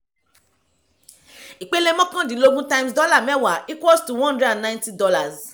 ìpele mọ́kàndínlógún times dollar mẹ́wàá equals to one hundred and ninety dollars